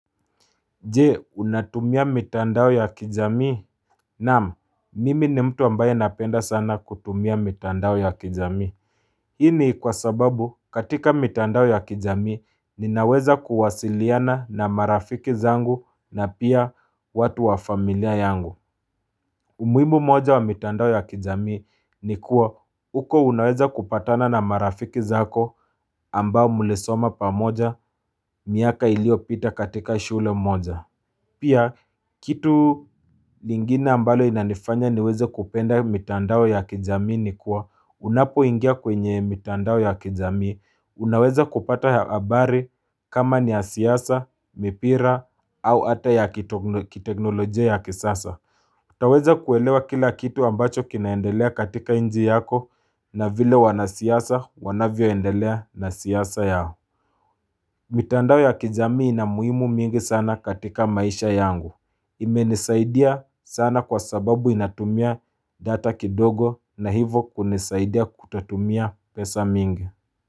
Jee, unatumia mitandao ya kijamii. Naam, mimi ni mtu ambaye napenda sana kutumia mitandao ya kijamii. Hii ni kwa sababu katika mitandao ya kijamii ninaweza kuwasiliana na marafiki zangu na pia watu wa familia yangu. Umuimu moja wa mitandao ya kijamii ni kuwa huko unaweza kupatana na marafiki zako ambao mlisoma pamoja miaka iliopita katika shule moja. Pia, kitu lingine ambalo inanifanya niweze kupenda mitandao ya kijamii ni kuwa, unapoingia kwenye mitandao ya kijami, unaweza kupata habari kama ni ya siyasa, mipira, au ata ya kiteknolojia ya kisasa. Taweza kuelewa kila kitu ambacho kinaendelea katika inji yako na vile wanasiyasa wanavyoendelea na siyasa yao. Mitandao ya kijami inamuhimu mingi sana katika maisha yangu. Imenisaidia sana kwa sababu inatumia data kidogo na hivo kunisaidia kutatumia pesa mingi.